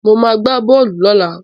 Mo ma gbá bọ́ọ̀lù lọ́la